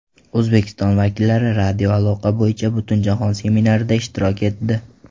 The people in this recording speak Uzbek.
O‘zbekiston vakillari radioaloqa bo‘yicha Butunjahon seminarida ishtirok etdi.